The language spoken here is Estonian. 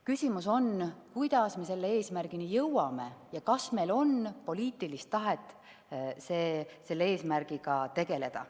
Küsimus on, kuidas me selle eesmärgini jõuame ja kas meil on poliitilist tahet selle eesmärgiga tegeleda.